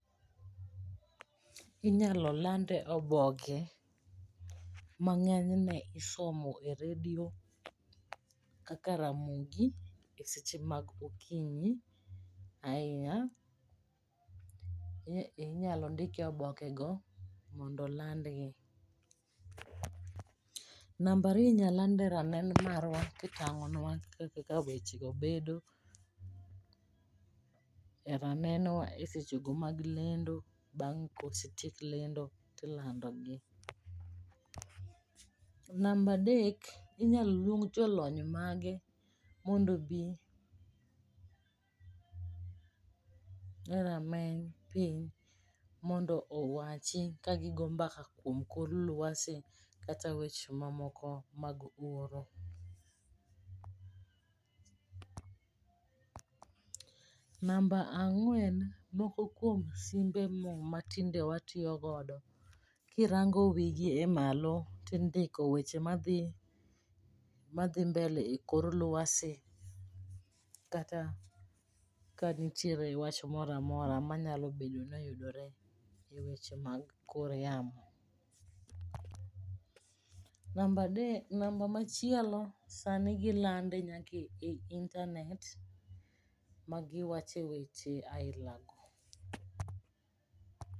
Inyalo lande oboke ma ng'enyne isomo e redio kaka Ramogi e seche ma okinyi ahinya, inyalo ndike e obeke go mondo olandgi. Nambariyo inya lande e ranen marwa kitang'onwa kaka wechego bedo, e ranenwa e sechego mag lendo bang' kosetiek lendo tilando gi. Nambadek inyal luong jolony mage mondo obi, e rameny piny mondo owachi ka gigo mbaka kuom kor lwasi kata weche mamoko mag horo. Namba ang'wen, moko kuom simbe ma tinde watiyogodo kirango wigi e malo tindiko weche madgi, madhi mbele e kor lwasi. Kata ka nitiere wach moramora ma nyabedo noyudore e weche mag kor yamo. Nambadek, namba machielo sani gilande nyake e intanet ma giwache weche aila go.